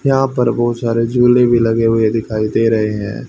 यहां पर बहुत सारे झूले भी लगे हुए दिखाई दे रहे हैं।